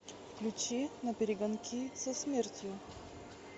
включи наперегонки со смертью